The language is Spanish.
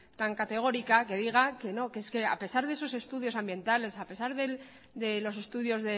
tan categórica que diga que no que es que a pesar a de esos estudios ambientales a pesar de los estudios